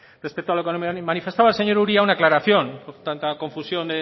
respecto a lo que me manifestaba el señor uria una aclaración tanta confusión